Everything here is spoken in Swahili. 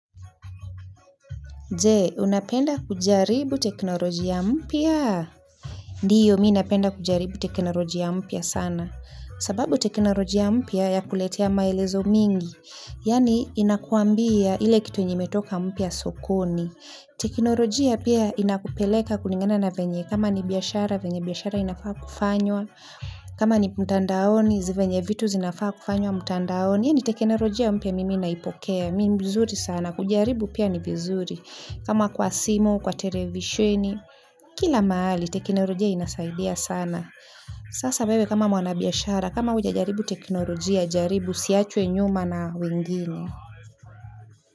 Je, unapenda kujaribu teknolojia mpya? Ndiyo, mimi napenda kujaribu teknoloji a mpya sana. Sababu teknolojia mpya yakuletea maelezo mingi. Yaani, inakuambia ile kitu yenye imetoka mpya sokoni. Teknolojia pia inakupeleka kulingana na venye. Kama ni biashara, venye biashara inafaa kufanywa. Kama ni mtandaoni, venye vitu zinafaa kufanywa mtandaoni. Hii ni teknolojia mpya mimi naipokea. Ni mzuri sana, kujaribu pia ni vizuri. Kama kwa simu, kwa televisheni, kila mahali, teknolojia inasaidia sana. Sasa wewe kama mwanabiashara, kama hujajaribu teknolojia, jaribu usiachwe nyuma na wengine.